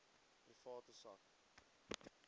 private sak